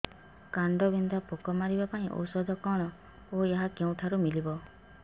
କାଣ୍ଡବିନ୍ଧା ପୋକ ମାରିବା ପାଇଁ ଔଷଧ କଣ ଓ ଏହା କେଉଁଠାରୁ ମିଳିବ